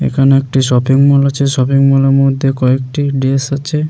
এখানে একটি shopping mall আছে শপিং মল -এর মধ্যে কয়েকটি ড্রেস আছে ।